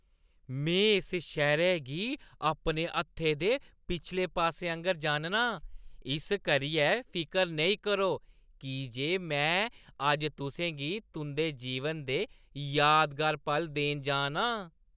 मैं इस शैह्‌रै गी अपने हत्थै दे पिछले पास्से आंह्‌गर जानना आं, इस करियै फिकर नेईं करो की जे में अज्ज तुसें गी तुंʼदे जीवन दे यादगार पल देन जा ना आं।